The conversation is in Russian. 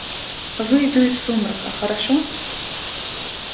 выйду из сумрака хорошо